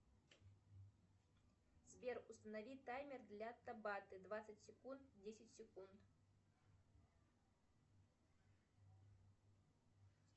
сбер установи таймер для табаты двадцать секунд десять секунд